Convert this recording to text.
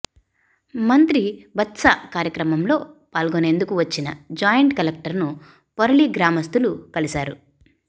మంత్రి బత్స కార్యక్రమంలో పాల్గనేందుకు వచ్చిన జాయింట్ కలెక్టర్ ను పోరలి గ్రామస్తులు కలిశారు